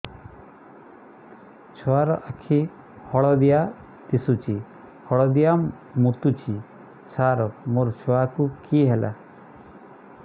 ଛୁଆ ର ଆଖି ହଳଦିଆ ଦିଶୁଛି ହଳଦିଆ ମୁତୁଛି ସାର ମୋ ଛୁଆକୁ କି ହେଲା